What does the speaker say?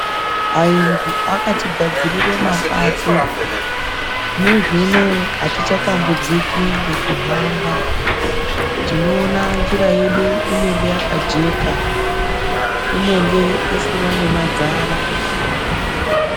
Ayungu akatigadzirira mapato zvinezvi unouwu hatichatambudziki ngekuhamba tinoona njira yedu inenge yakajeka inenge isina nemadzara.